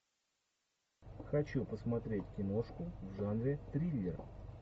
хочу посмотреть киношку в жанре триллер